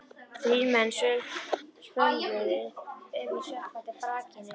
Þrír menn svömluðu um í sökkvandi brakinu.